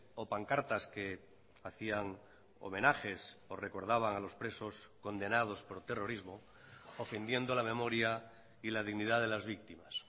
o pancartas que hacían homenajes o recordaban a los presos condenados por terrorismo ofendiendo la memoria y la dignidad de las víctimas